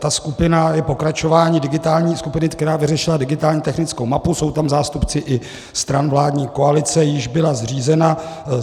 Ta skupina je pokračováním digitální skupiny, která vyřešila digitální technickou mapu, jsou tam zástupci i stran vládní koalice, jíž byla zřízena.